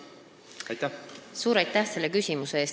Suur aitäh selle küsimuse eest!